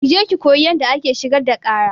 Ki je ki koyi yanda ake shigar da ƙara!